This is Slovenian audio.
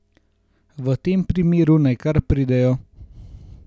V tem primeru naj kar pridejo.